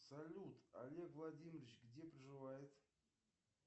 салют олег владимирович где проживает